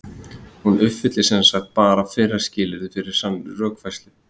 Hún uppfyllir sem sagt bara fyrra skilyrðið fyrir sannri rökfærslu.